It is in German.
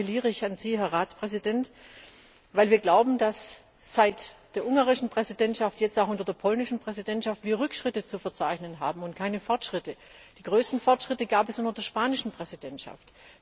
Hier appelliere ich an Sie, Herr Ratspräsident, weil wir glauben, dass wir seit der ungarischen Präsidentschaft und auch jetzt unter der polnischen Präsidentschaft Rückschritte zu verzeichnen haben und keine Fortschritte. Die größten Fortschritte gab es unter der spanischen Präsidentschaft.